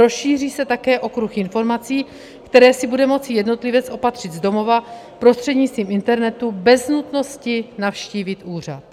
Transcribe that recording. Rozšíří se také okruh informací, které si bude moci jednotlivec opatřit z domova prostřednictvím internetu bez nutnosti navštívit úřad.